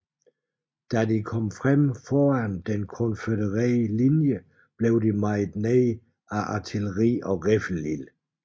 Da de kom frem foran den konfødererede linje blev de mejet ned af artilleri og riffelild